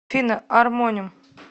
афина армоним